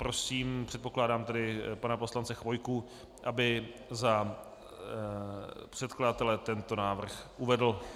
Prosím - předpokládám tedy - pana poslance Chvojku, aby za předkladatele tento návrh uvedl.